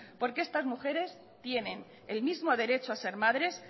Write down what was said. porque estas mujeres tienen el mismo derecho a ser madres